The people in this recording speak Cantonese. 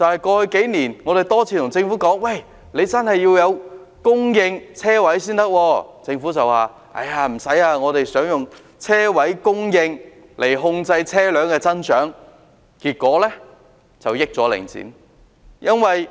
過去數年，我們多次向政府提出，真的要供應車位，但政府卻說不用，他們打算透過車位供應來控制車輛的增長，結果讓領展得益。